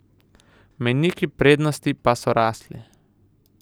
Mejniki prednosti pa so rastli.